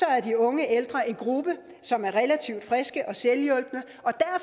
er de unge ældre en gruppe som er relativt friske og selvhjulpne